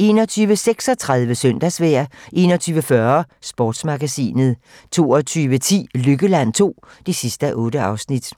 21:36: Søndagsvejr 21:40: Sportsmagasinet 22:10: Lykkeland II (8:8)